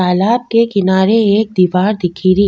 तालाब के किनारे एक दिवार दिख री।